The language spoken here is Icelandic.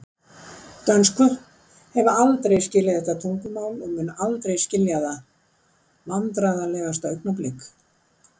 Dönsku hef aldrei skilið þetta tungumál og mun aldrei skilja það Vandræðalegasta augnablik?